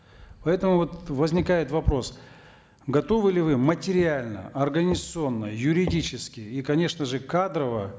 поэтому вот возникает вопрос готовы ли вы материально огранизационно юридически и конечно же кадрово